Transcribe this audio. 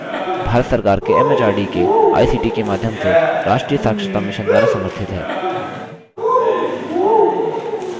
भारत सरकार के एमएचआरडी के आईसीटी के माध्यम से राष्ट्रीय साक्षरता mission द्वारा समर्थित है